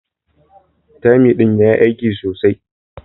"Thyme" din ya yi aiki sosai